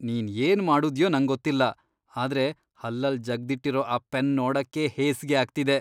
ನೀನ್ ಏನ್ ಮಾಡುದ್ಯೋ ನಂಗೊತ್ತಿಲ್ಲ, ಆದ್ರೆ ಹಲ್ಲಲ್ ಜಗ್ದಿಟ್ಟಿರೋ ಆ ಪೆನ್ ನೋಡಕ್ಕೇ ಹೇಸ್ಗೆ ಆಗ್ತಿದೆ.